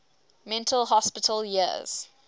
mental hospital years